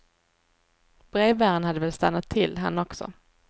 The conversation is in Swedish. Brevbäraren hade väl stannat till, han också.